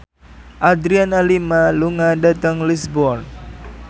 Adriana Lima lunga dhateng Lisburn